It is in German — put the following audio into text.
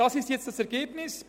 Dies ist nun das Ergebnis.